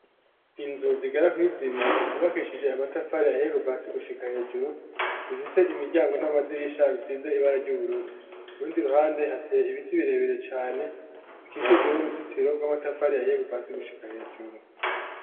Inzu, zigera kuri zibiri, zubakishije amatafari ahiye, kuva hasi, gushika hejuru; zifise imiryango, n'amadirisha, bisize ibara ry'ubururu; ku rundi ruhande, hateye ibiti, birebere cane, bikikujwe n'uruzitiro, rw'amatafari ahiye, kuva hasi, gushika hejuru.